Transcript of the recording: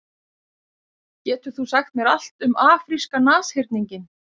Getur þú sagt mér allt um afríska nashyrninginn?